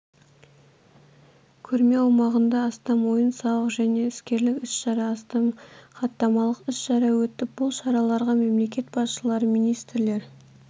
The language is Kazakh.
көрме аумағында астам ойын-сауық және іскерлік іс-шара астам хаттамалық іс-шара өтіп бұл шараларға мемлекет басшылары министрлер